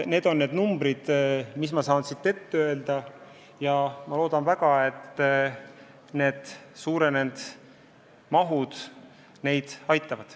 Need on numbrid, mis ma saan siit öelda, ja ma loodan väga, et suurenenud summad neid aitavad.